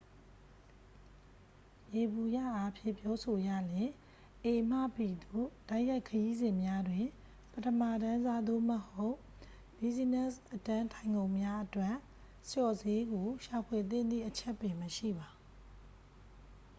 ယေဘုယျအားဖြင့် ပြောဆိုရလျှင် a မှ b သို့ တိုက်ရိုက်ခရီးစဉ်များတွင် ပထမတန်းစား သို့မဟုတ် ဘီးဇီးနက်စ် အတန်းထိုင်ခုံများအတွက် လျှော့ဈေးကို ရှာဖွေသင့်သည့် အချက်ပင်မရှိပါ